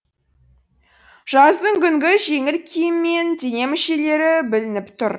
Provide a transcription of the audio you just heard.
жаздыңгүнгі жеңіл киіммен дене мүшелері білініп тұр